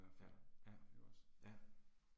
Ja, ja. Ja